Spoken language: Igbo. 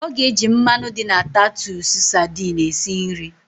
Ọ ga-ejị mmanụ dị na tatụsụ sadini esi nri